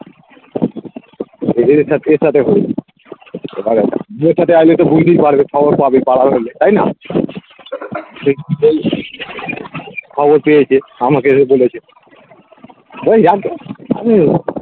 বুঝতেই পারবে খবর পাবে পারাই হলে তাই না খবর পেয়েছে আমাকে এসে বলেছে